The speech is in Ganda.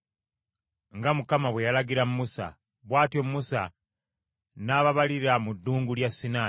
nga Mukama bwe yalagira Musa. Bw’atyo Musa n’ababalira mu Ddungu lya Sinaayi: